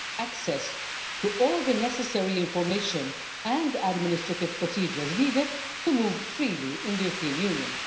access to all the necessary information and administrative procedures needed to move freely in the European Union.